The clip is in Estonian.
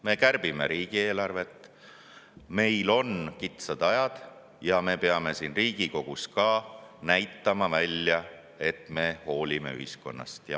Me kärbime riigieelarvet, meil on kitsad ajad ja me peame ka siin Riigikogus välja näitama, et me hoolime ühiskonnast.